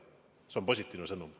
See on positiivne sõnum.